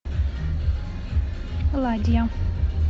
ладья